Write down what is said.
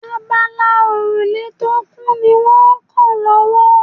Abala òrùlé tó kù ní wọ́n kan lọ́wọ́